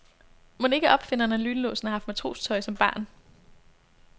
Mon ikke opfinderen af lynlåsen har haft matrostøj som barn.